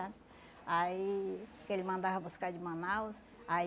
Aí que ele mandava buscar de Manaus. Aí